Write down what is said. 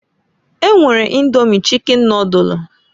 E nwere Indomi chicken nodulu.